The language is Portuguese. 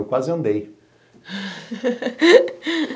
Eu quase andei.